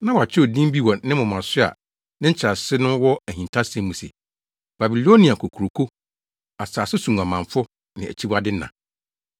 Na wɔakyerɛw din bi wɔ ne moma so a ne nkyerɛase no wɔ ahintasɛm mu se, “Babilonia Kokuroko, Asase So Nguamanfo Ne Akyiwade Na.”